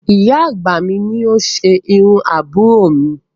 Ìyá àgbà mi ni ó ṣe irú àbúrò mi